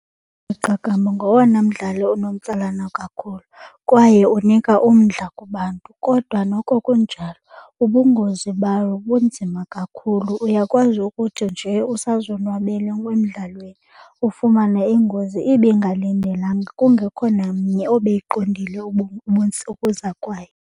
Iqakamba ngowona mdlalo unomtsalane kakhulu kwaye onika umdla kubantu kodwa noko kunjalo ubungozi bawo bunzima kakhulu. Uyakwazi ukuthi nje usazonwabele emdlalweni ufumane ingozi ibingalindelanga kungekho namnye obeyiqondile ukuza kwayo.